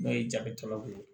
N'o ye jabikɛlaw ye